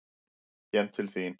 Kem til þín.